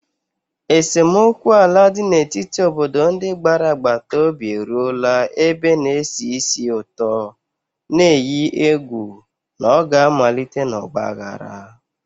Esemokwu ala dị n'etiti obodo ndị gbara agbata obi eruola ebe na-esi ísì ụtọ, na-eyi egwu na ọ ga-amalite n'ọgba aghara.